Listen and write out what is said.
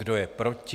Kdo je proti?